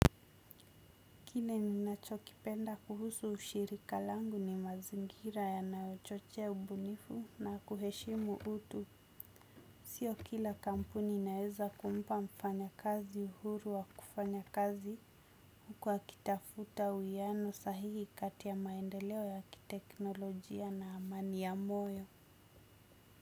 Kile ninachokipenda kuhusu ushirika langu ni mazingira yanayo chochea ubunifu na kuheshimu utu. Sio kila kampuni inaeza kumpa mfanya kazi uhuru wa kufanya kazi. Kwa kitafuta uwiano sahihi kati ya maendeleo ya kiteknolojia na amani ya moyo.